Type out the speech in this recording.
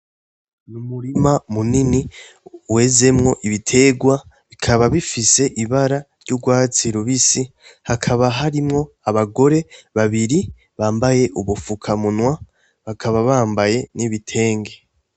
Umurima munini wezemwo ibiterwa, bikaba bifise ibara ry'urwatsi rubisi, hakaba harimwo abagore babiri bambaye ubufuka munwa, bakaba bambaye n'ibitenge.